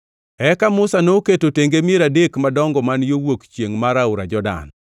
Eka Musa noketo tenge mier adek madongo man yo wuok chiengʼ mar aora Jordan,